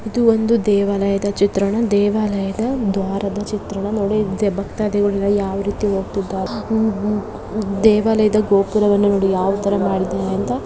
ಇದು ಒಂದು ದೇವಾಲಯದ ಚಿತ್ರಣ ದೇವಾಲಯದ ದ್ವಾರದ ಚಿತ್ರಣ ಭಕ್ತಾದಿಗಳು ಯಾವ ರೀತಿ ಹೋಗ್ತಾಯಿದಾರೆ ದೇವಾಲಯದ ಯಾವ ತರ ಮಾಡಿದರೆ ಅಂತ .